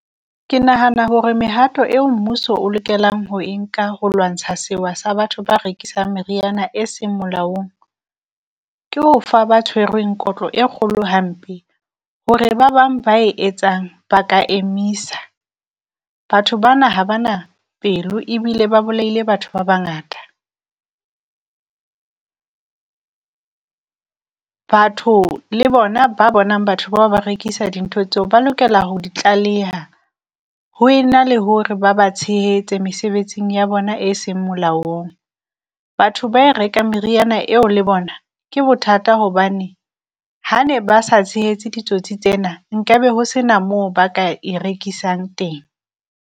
Ke nahana hore mehato eo mmuso o lokelang ho e nka ho lwantsha sewa sa batho ba rekisoang meriana e seng molaong, ke ho fa ba tshwerweng kotlo e kgolo hampe hore ba bang ba e etsang ba ka emisa. Batho bana ha ba na pelo, ebile ba bolaile batho ba bangata, batho le bona ba bonang batho bao ba rekisa dintho tseo ba lokela ho di tlaleha, ho e na le hore ba ba tshehetse mesebetsing ya bona e seng molaong. Batho ba e rekang meriana eo le bona ke bothata hobane ha ne ba sa tshehetse ditsotsi tsena, nkabe ho sena moo ba ka e rekisang teng.